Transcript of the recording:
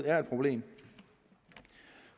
er et problem